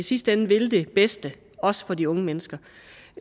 i sidste ende vil det bedste også for de unge mennesker